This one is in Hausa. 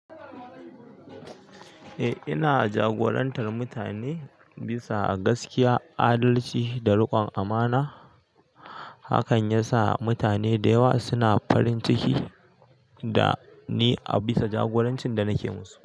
Eh, ina jagorantar mutane bisa gaskiya, adalci da riƙon amana. Hakan yasa mutane da yawa suna farin ciki da ni a bisa jagorancin da nake musu.